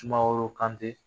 Sumaworo Kante